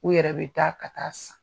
U yɛrɛ bɛ taa ka taa san.